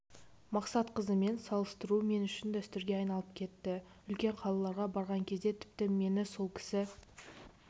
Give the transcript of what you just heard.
мақсатқызымен салыстыру мен үшін дәстүрге айналып кетті үлкен қалаларға барған кезде тіпті мені сол кісі